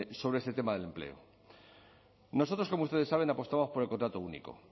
sobre este tema del empleo nosotros como ustedes saben apostamos por el contrato único